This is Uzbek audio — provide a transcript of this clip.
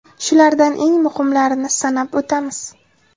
Shulardan eng muhimlarini sanab o‘tamiz.